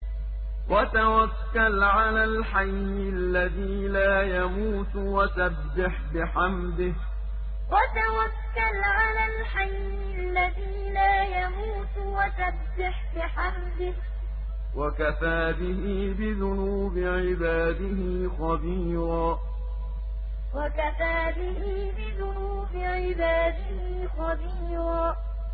وَتَوَكَّلْ عَلَى الْحَيِّ الَّذِي لَا يَمُوتُ وَسَبِّحْ بِحَمْدِهِ ۚ وَكَفَىٰ بِهِ بِذُنُوبِ عِبَادِهِ خَبِيرًا وَتَوَكَّلْ عَلَى الْحَيِّ الَّذِي لَا يَمُوتُ وَسَبِّحْ بِحَمْدِهِ ۚ وَكَفَىٰ بِهِ بِذُنُوبِ عِبَادِهِ خَبِيرًا